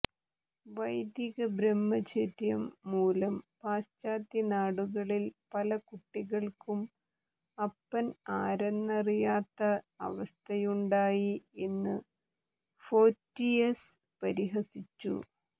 വൈദികബ്രഹ്മചര്യം മൂലം പാശ്ചാത്യനാടുകളിൽ പല കുട്ടികൾക്കും അപ്പൻ ആരെന്നറിയാത്ത അവസ്ഥയുണ്ടായി എന്നു ഫോറ്റിയസ് പരിഹസിച്ചു